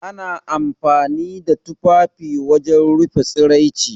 Ana amfani da tufafi wajen rufe tsaraici.